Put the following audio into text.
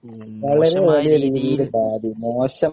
മോശം